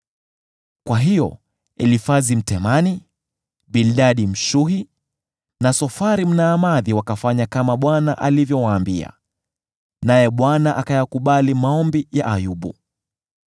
Kwa hiyo Elifazi Mtemani, Bildadi Mshuhi, na Sofari Mnaamathi wakafanya kama Bwana alivyowaambia; naye Bwana akayakubali maombi ya Ayubu.